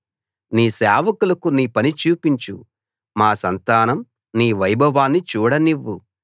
నీ సేవకులకు నీ పని చూపించు మా సంతానం నీ వైభవాన్ని చూడనివ్వు